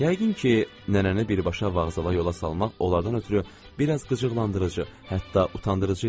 Yəqin ki, nənəni birbaşa vağzala yola salmaq onlardan ötrü biraz qıcıqlandırıcı, hətta utandırıcı idi.